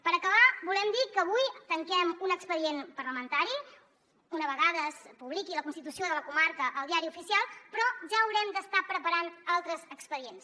per acabar volem dir que avui tanquem un expedient parlamentari una vegada es publiqui la constitució de la comarca al diari oficial però ja haurem d’estar preparant altres expedients